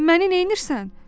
Məni neynirsən?